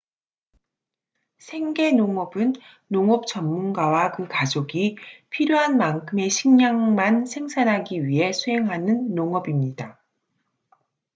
생계 농업은 농업 전문가와 그 가족이 필요한 만큼의 식량만 생산하기 위해 수행하는 농업입니다